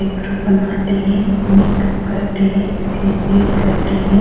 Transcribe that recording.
Eyebrow बनाते हैं makeup करते हैं फेशियल करते हैं।